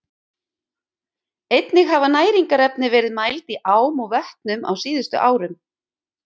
Einnig hafa næringarefni verið mæld í ám og vötnum á síðustu árum.